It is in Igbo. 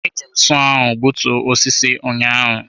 Eji m sọọ ahụ gbutuo osisi ụnyaahụ.